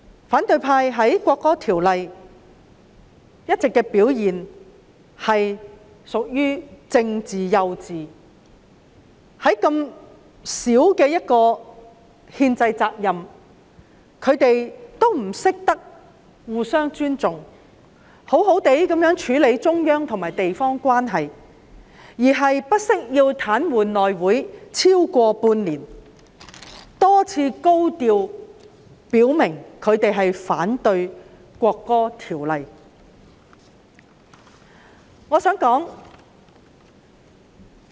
反對派在審議《條例草案》期間的表現屬於"政治幼稚"，即使這麼小的憲制責任，他們也不懂得互相尊重，好好處理中央與地方關係，反而不惜癱瘓內務委員會超過半年，多次高調表明反對《條例草案》。